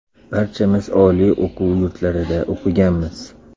Barchamiz oliy o‘quv yurtlarida o‘qiganmiz.